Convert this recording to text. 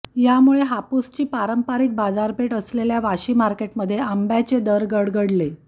यामुळे हापूसची पारंपरिक बाजारपेठ असलेल्या वाशी मार्केटमध्ये आंब्याचे दर गडगडले